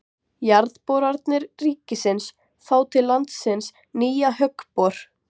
Jarðboranir ríkisins fá til landsins nýjan höggbor